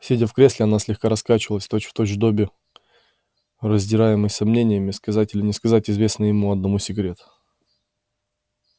сидя в кресле она слегка раскачивалась точь-в-точь добби раздираемый сомнениями сказать или не сказать известный ему одному секрет